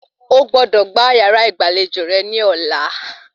O gbọ́dọ̀ gbá yàrá ìgbàlejò rẹ ní ọ̀la